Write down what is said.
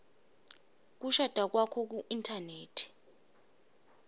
kushada kwakho kuinthanethi